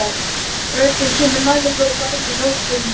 Röddin kemur nær og á lægri nótum.